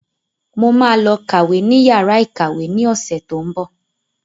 Mo ma lọ kàwé ní yàrá ìkàwé ní ọ̀sẹ̀ tó ń bọ̀